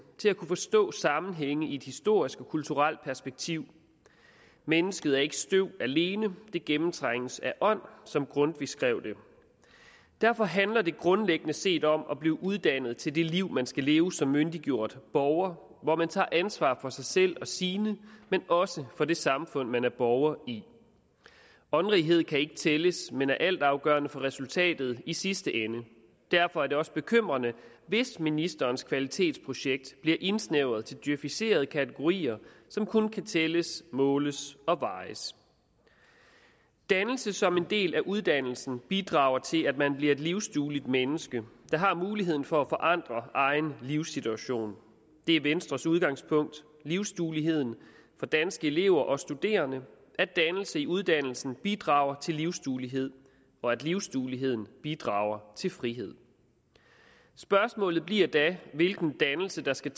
til at kunne forstå sammenhænge i et historisk og kulturelt perspektiv mennesket er ikke støv alene det gennemtrænges af ånd som grundtvig skrev det derfor handler det grundlæggende set om at blive uddannet til det liv man skal leve som myndiggjort borger hvor man tager ansvar for sig selv og sine men også for det samfund man er borger i åndrighed kan ikke tælles men er altafgørende for resultatet i sidste ende derfor er det også bekymrende hvis ministerens kvalitetsprojekt bliver indsnævret til djøficerede kategorier som kun kan tælles måles og vejes dannelse som en del af uddannelsen bidrager til at man bliver et livsdueligt menneske der har muligheden for at forandre egen livssituation det er venstres udgangspunkt livsdueligheden for danske elever og studerende at dannelse i uddannelsen bidrager til livsduelighed og at livsdueligheden bidrager til frihed spørgsmålet bliver da hvilken dannelse der skal